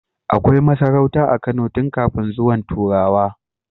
Akai masarauta a Kano tun kafin zuwan turawa